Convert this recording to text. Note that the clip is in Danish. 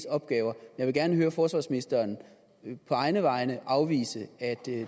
opgave jeg vil gerne høre forsvarsministeren på egne vegne afvise at